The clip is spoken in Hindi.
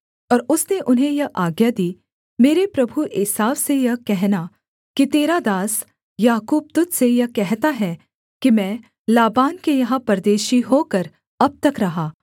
और उसने उन्हें यह आज्ञा दी मेरे प्रभु एसाव से यह कहना कि तेरा दास याकूब तुझ से यह कहता है कि मैं लाबान के यहाँ परदेशी होकर अब तक रहा